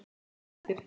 Ein mínúta eftir.